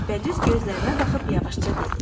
Və düz gözlərinə baxıb yavaşca dedi: